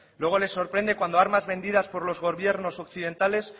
luego les sorprende cuando armas vendidas por los gobiernos occidentales